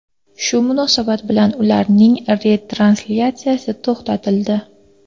Shu munosabat bilan ularning retranslyatsiyasi to‘xtatildi.